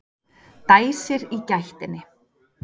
Dæsir í gættinni.